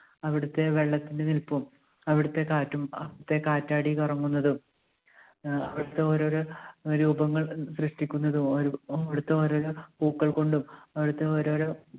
അവിടുത്തെ വെള്ളത്തിൻറെ നിൽപ്പും അവിടത്തെ കാറ്റും അവിടുത്തെ കാറ്റാടി കറങ്ങുന്നതും ആഹ് അവിടുത്തെ ഓരോരോ രൂപങ്ങൾ സൃഷ്ടിക്കുന്നതും അവിടു~അവിടുത്തെ ഓരോരോ പൂക്കൾ കൊണ്ടും അവിടുത്തെ ഓരോരോ